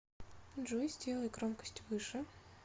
джой сделай громкость выше